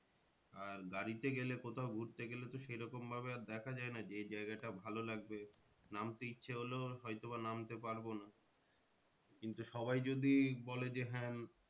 আর গাড়িতে গেলে কোথাও ঘুরতে গেলে তো আর সে রকম ভাবে আর দেখা যায় না যে জায়গাটা ভালো লাগবে নামতে ইচ্ছা হলেও হয় তো বা নামতে পারবো না। কিন্তু সবাই যদি বলে যে হ্যাঁ